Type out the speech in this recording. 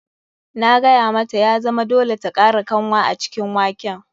Na gaya mata ya zama dole ta kara kanwa a cikin waken.